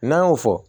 N'an y'o fɔ